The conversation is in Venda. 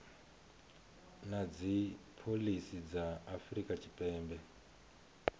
na dzipholisi dza afrika tshipembe